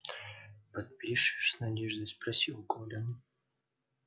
подпишешь с надеждой спросил колин